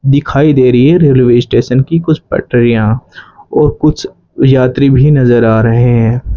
दिखाई दे रही है रेलवे स्टेशन की कुछ पटरियां और कुछ यात्री भी नजर आ रहे हैं।